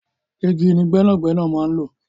Igi ni gbẹ́nàgbẹ́nà máa n̄ lò